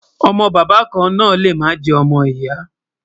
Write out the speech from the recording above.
ọ̀mò bàbá kàn nà lè má jè ọmọ ìyà